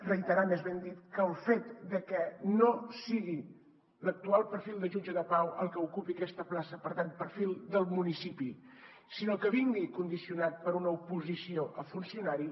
reiterar més ben dit és que el fet de que no sigui l’actual perfil de jutge de pau el que ocupi aquesta plaça per tant perfil del municipi sinó que vingui condicionat per una oposició a funcionari